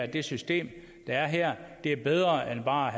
det system der er her er bedre end bare at